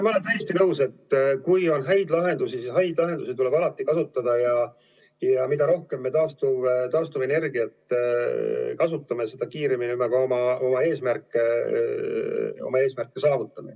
Ma olen täiesti nõus, et kui on häid lahendusi, siis neid tuleb alati kasutada, ja mida rohkem me taastuvenergiat kasutame, seda kiiremini me ka oma eesmärgid saavutame.